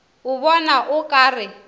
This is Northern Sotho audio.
o bona o ka re